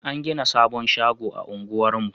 An gina sabon shago a unguwar mu